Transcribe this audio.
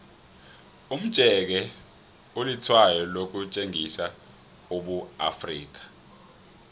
umjeke ulitshwayo lokutjengisa ubuafrika